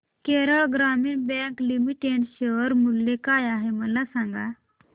Kerala Gramin Bank Limited share मूल्य काय आहे मला सांगा